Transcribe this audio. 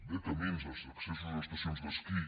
bé caminis accessos a estacions d’esquí